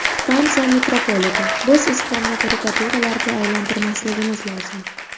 Fransiya mitropoliti: Biz islomni karikaturalarga aylantirmasligimiz lozim.